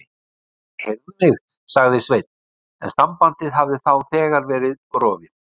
Nei, heyrðu mig. sagði Sveinn en sambandið hafði þá þegar verið rofið.